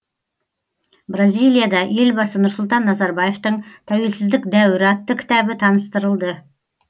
бразилияда елбасы нұрсұлтан назарбаевтың тәуелсіздік дәуірі атты кітабы таныстырылды